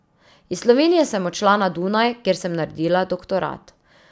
Iz Slovenije sem odšla na Dunaj, kjer sem naredila doktorat.